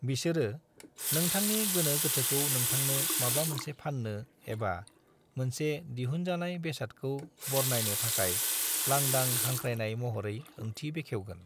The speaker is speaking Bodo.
बिसोरो नोंथांनि गोनो गोथोखौ नोंथांनो माबा मोनसे फान्नो एबा मोनसे दिहुनजानाय बेसादखौ बरनायनो थाखाय लांदां हांख्रायनाय महरै ओंथि बेखेवगोन।